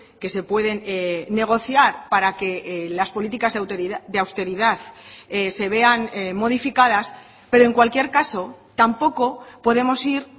que se pueden negociar para que las políticas de austeridad se vean modificadas pero en cualquier caso tampoco podemos ir